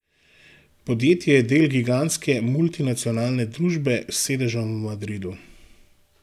Podjetje je del gigantske multinacionalne družbe s sedežem v Madridu.